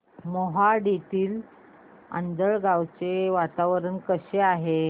मोहाडीतील आंधळगाव चे वातावरण कसे आहे